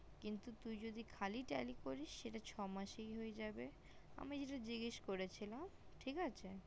কিন্তু তুই যদি খালি tally করিস তাহলে ছ মাসেই হয়ে যাবে আমি যেটা জিজ্ঞাস করেছিলাম ঠিক আছে